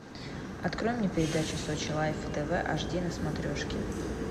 открой мне передачу сочи лайф тв аш ди на смотрешке